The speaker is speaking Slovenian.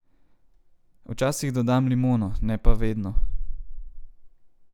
Včasih dodam limono, ne pa vedno.